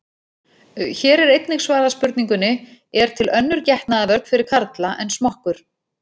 Hér er einnig svarað spurningunni: Er til önnur getnaðarvörn fyrir karla en smokkur?